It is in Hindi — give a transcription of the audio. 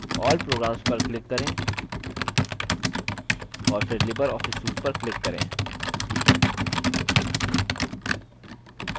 all programs पर click करें और फिर libreoffice suite पर click करें